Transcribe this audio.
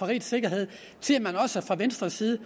rigets sikkerhed siger man også fra venstres side at